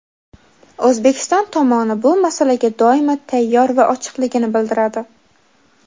O‘zbekiston tomoni bu masalaga doimo tayyor va ochiqligini bildiradi.